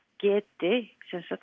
geti